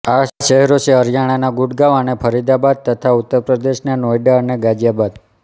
આ શહેરો છે હરિયાણાના ગુડગાંવ અને ફરીદાબાદ તથા ઉત્તરપ્રદેશના નોઈડા અને ગાઝિયાબાદ